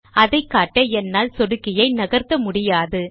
அதைக்காட்ட என்னால் சொடுக்கியை நகர்த்த முடியாது